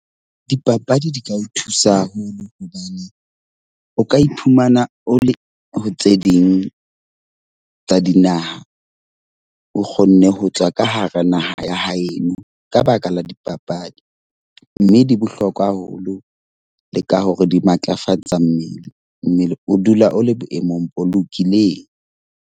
Dipapadi di ka o thusa haholo hobane o ka iphumana o le tse ding tsa dinaha. O kgonne ho tswa ka hara neng naha ya heno ka baka la dipapadi. Mme di bohlokwa haholo le ka hore di matlafatsa mmele. Mmele o dula o le boemong bo lokileng.